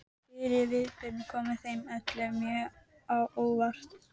Fyrirburðirnir komu þeim öllum mjög á óvart.